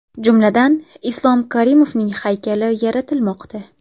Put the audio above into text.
Jumladan, Islom Karimovning haykali yaratilmoqda.